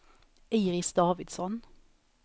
Iris Davidsson